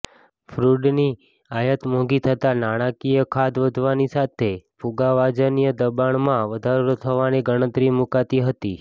ક્રૂડની આયાત મોંઘી થતા નાણાંકીય ખાધ વધવાની સાથે ફુગાવાજન્ય દબાણમાં વધારો થવાની ગણતરી મુકાતી હતી